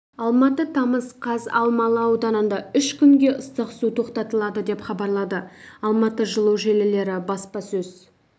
алматы тамыз қаз алмалы ауданында үш күнге ыстық су тоқтатылады деп хабарлады алматы жылу желілері баспасөз